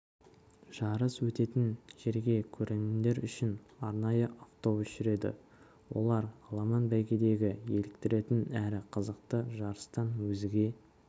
жарыс өтетін жерге көрермендер үшін арнайы автобус жүреді олар аламан бәйгедегі еліктіретін әрі қызықты жарыстан өзге